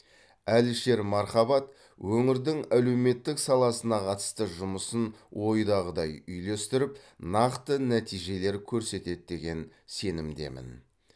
әлішер мархабат өңірдің әлеуметтік саласына қатысты жұмысын ойдағыдай үйлестіріп нақты нәтижелер көрсетеді деген сенімдемін